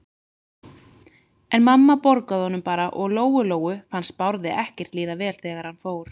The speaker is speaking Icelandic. En mamma borgaði honum bara og Lóu-Lóu fannst Bárði ekkert líða vel þegar hann fór.